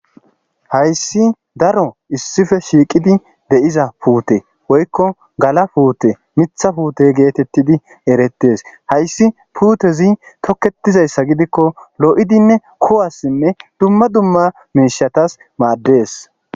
hayssi daro issife shiiqidi deyiza puute woykko gala puute mitha puute geetettidi erettes hayssi puutezi tokketizayssa gidikko lo7idinne kowassinne dumma dumma minshatas maaddees